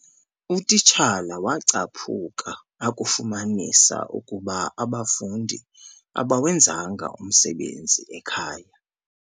Utitshala wacaphukia akufumanisa ukuba abafundi abawenzanga umsebenzi ekhaya.